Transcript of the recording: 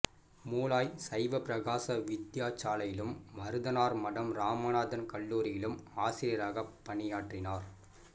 மூளாய் சைவப்பிரகாச வித்தியாசாலையிலும் மருதனார்மடம் இராமநாதன் கல்லூரியிலும் ஆசிரியராகப் பணியாற்றினார்